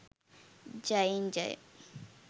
ජයෙන් ජය!